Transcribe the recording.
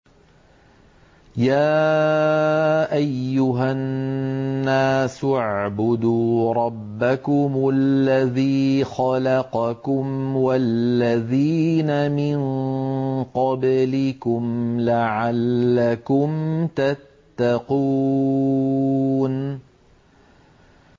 يَا أَيُّهَا النَّاسُ اعْبُدُوا رَبَّكُمُ الَّذِي خَلَقَكُمْ وَالَّذِينَ مِن قَبْلِكُمْ لَعَلَّكُمْ تَتَّقُونَ